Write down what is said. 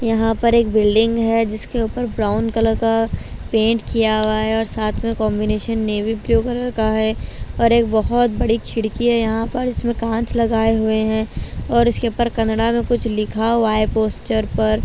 यहां पर एक बिल्डिंग है जिसके ऊपर ब्राउन कलर का पेंट किया हुआ है और साथ में कॉम्बिनेशन नेवी ब्लू कलर का है और एक बहुत बड़ी खिड़की है यहां पर इसमें कांच लगाए हुए हैं और इसके ऊपर कनड़ा में कुछ लिखा हुआ है पोस्टर पर।